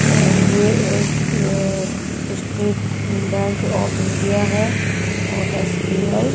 अ ये एक State Bank of India है और एस बी आइ (--